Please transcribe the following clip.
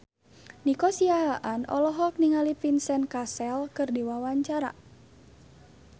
Nico Siahaan olohok ningali Vincent Cassel keur diwawancara